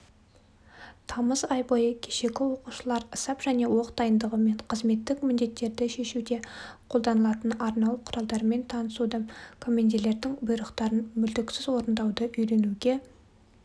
тамыз ай бойы кешегі оқушылар сап және оқ дайындығымен қызметтік міндеттерді шешуде қолданылатын арнаулы құралдармен танысуды командирлердің бұйрықтарын мүлтіксіз орындауды үйренуге